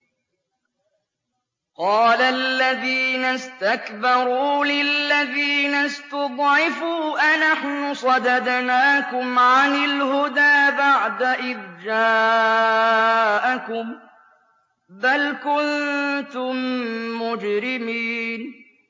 قَالَ الَّذِينَ اسْتَكْبَرُوا لِلَّذِينَ اسْتُضْعِفُوا أَنَحْنُ صَدَدْنَاكُمْ عَنِ الْهُدَىٰ بَعْدَ إِذْ جَاءَكُم ۖ بَلْ كُنتُم مُّجْرِمِينَ